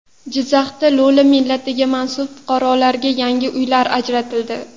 Jizzaxda lo‘li millatiga mansub fuqarolarga yangi uylar ajratildi .